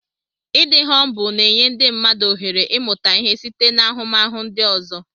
Ịdị humbụl na-enye ndị mmadụ ohere ịmụta ihe site n'ahụmahụ ndị ọzọ.